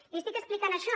li estic explicant això